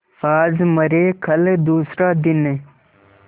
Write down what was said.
आज मरे कल दूसरा दिन